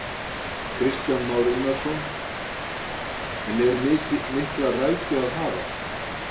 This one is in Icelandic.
Kristján Már Unnarsson: En er mikla rækju að hafa?